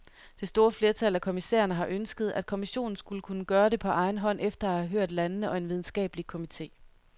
Det store flertal af kommissærerne har ønsket, at kommissionen skulle kunne gøre det på egen hånd efter at have hørt landene og en videnskabelig komite.